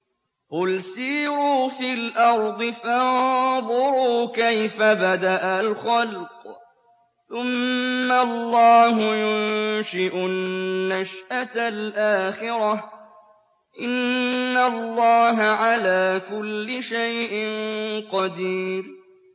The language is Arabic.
قُلْ سِيرُوا فِي الْأَرْضِ فَانظُرُوا كَيْفَ بَدَأَ الْخَلْقَ ۚ ثُمَّ اللَّهُ يُنشِئُ النَّشْأَةَ الْآخِرَةَ ۚ إِنَّ اللَّهَ عَلَىٰ كُلِّ شَيْءٍ قَدِيرٌ